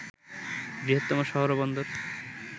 বৃহত্তম শহর ও বন্দর